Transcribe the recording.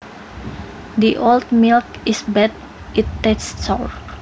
The old milk is bad it tastes sour